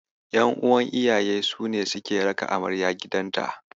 Ƴan'uwan iyayen su ne suke raka amarya gidanta.